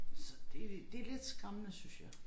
Så det det lidt skræmmende synes jeg